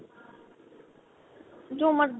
ਜੋ ਮਰਜੀ